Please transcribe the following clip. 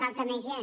falta més gent